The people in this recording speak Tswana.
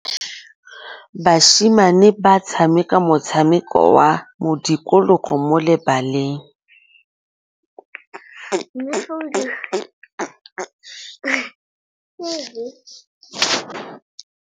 Basimane ba tshameka motshameko wa modikologô mo lebaleng.